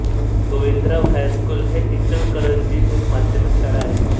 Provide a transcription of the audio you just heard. Govindrao high school हे इचलकरंजी एक माध्यमिक शाळा आहे